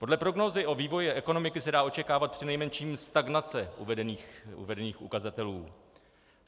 Podle prognózy o vývoji ekonomiky se dá očekávat přinejmenším stagnace uvedených ukazatelů.